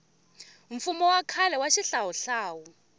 mfumo wa khale wa xihlawuhlawu